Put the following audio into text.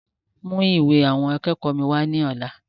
Mú ìwé àwọn akẹ́kọ̀ọ́ mi wá lọ́la!